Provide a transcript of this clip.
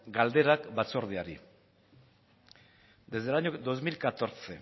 galderak batzordeari desde el año dos mil catorce